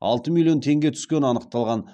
алты миллион теңге түскені анықталған